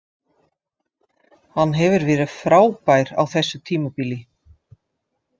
Hann hefur verið frábær á þessu tímabili.